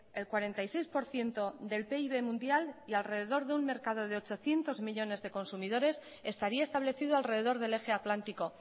el cuarenta y seis por ciento del pib mundial y alrededor de un mercado de ochocientos millónes de consumidores estaría establecido alrededor del eje atlántico